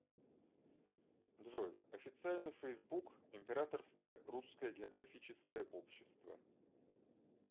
джой официальный фейсбук императорское русское географическое общество